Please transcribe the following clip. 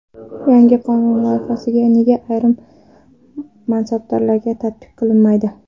Yangi qonun loyihasi nega ayrim mansabdorlarga tatbiq qilinmaydi?